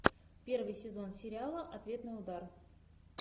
первый сезон сериала ответный удар